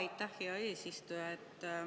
Aitäh, hea eesistuja!